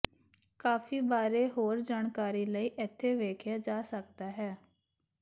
ਕਾਫੀ ਬਾਰੇ ਹੋਰ ਜਾਣਕਾਰੀ ਲਈ ਇੱਥੇ ਵੇਖਿਆ ਜਾ ਸਕਦਾ ਹੈ